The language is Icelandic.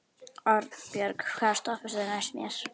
Arnbjörg, hvaða stoppistöð er næst mér?